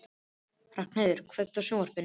Ragnheiður, kveiktu á sjónvarpinu.